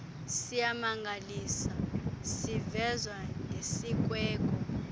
siyamangalisa sivezwa ngesikweko